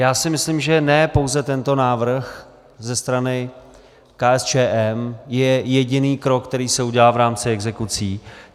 Já si myslím, že ne pouze tento návrh ze strany KSČM je jediný krok, který se udělá v rámci exekucí.